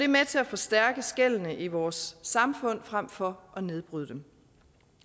med til at forstærke skellene i vores samfund frem for at nedbryde dem